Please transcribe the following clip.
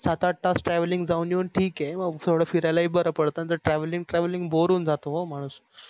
सात आठ travelling जावून येवून ठीक आहे मग थोड फिरायला हि बर पडत नाहीतर travelling, travelling boar होऊन जात हो माणूस